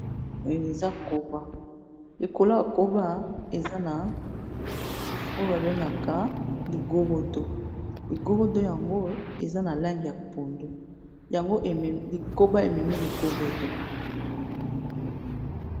Oyo eza koba, likolo ya koba eza na oyo ba bengaka ligorodo, ligorodo yango eza na langi ya pondu yango e memi, koba ememi ligorodo .